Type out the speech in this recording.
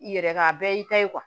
I yɛrɛ ka a bɛɛ y'i ta ye